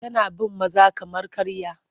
Tana bin maza kamar karya.